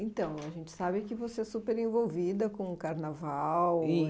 Então, a gente sabe que você é super envolvida com o Carnaval.